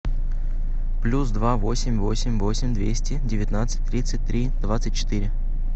плюс два восемь восемь восемь двести девятнадцать тридцать три двадцать четыре